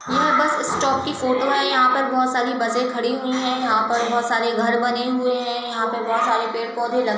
यह bus stop की photo है। यहां पर बोहोत सारी बसे खडी हुईं हैं। यहां पर बोहोत सारे घर बने हुए हैं। यहां पर बोहोत सारे पेड़-पौधे लग --